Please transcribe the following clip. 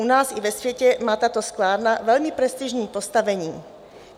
U nás i ve světě má tato sklárna velmi prestižní postavení.